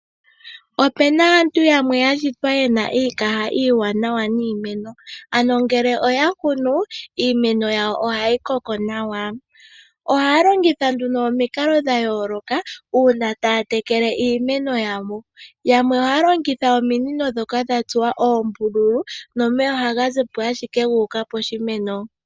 O pe na aantu yamwe ya shitwa ye na iikaha iiwanawa niimeno . Ano ngele oya kunu, iimeno yawo oha yi koko nawa.. Ohaa longutha nduno omikalo dha yooloka uuna taa tekele iimeno yawo. Yamwe ohaa longitha ominino ndhoka dha tsuwa oombululu